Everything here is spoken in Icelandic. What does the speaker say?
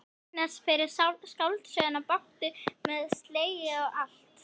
Laxness fyrir skáldsöguna Bátur með segli og allt.